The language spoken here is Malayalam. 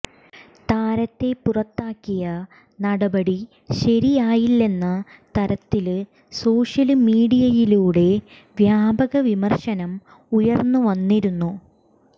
താരത്തെ പുറത്താക്കിയ നടപടി ശരിയായില്ലെന്ന തരത്തില് സോഷ്യല് മീഡിയയിലൂടെ വ്യാപക വിമര്ശനം ഉയര്ന്നുവന്നിരുന്നു